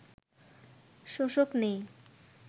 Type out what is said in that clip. শোষক নেই